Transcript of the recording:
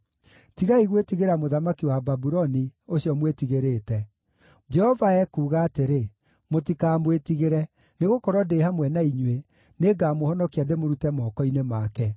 Tigai gwĩtigĩra mũthamaki wa Babuloni, ũcio mwĩtigĩrĩte. Jehova ekuuga atĩrĩ, mũtikamwĩtigĩre, nĩgũkorwo ndĩ hamwe na inyuĩ, nĩngamũhonokia ndĩmũrute moko-inĩ make.